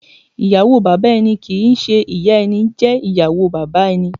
Ìyàwó Bàbà ẹni tí kìí ń ṣe ìyá ẹni jẹ́ ìyàwó bàbá ẹni.